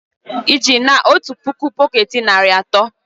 Ịji na otu puku bọket narị asatọ?